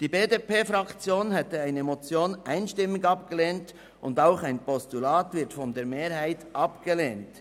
Die BDP-Fraktion hätte eine Motion einstimmig abgelehnt, und auch ein Postulat wird von der Mehrheit abgelehnt.